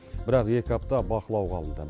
бірақ екі апта бақылауға алынды